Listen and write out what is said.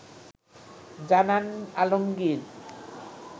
জানান আলমগীর